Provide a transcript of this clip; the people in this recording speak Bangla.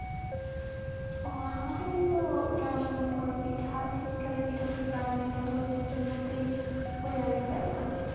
ওহ আমাদের তো গ্রামের মনে করো তো পিঠা, শীতকালে পিঠাপুলি বানাবে এটাতো ঐতিহ্যের মধ্যে হইয়া গেছে এখন.